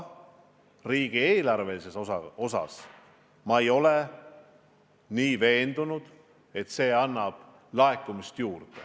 Samas ma ei ole veendunud, et see suurendab riigieelarve laekumist.